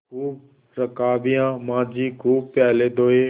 खूब रकाबियाँ माँजी खूब प्याले धोये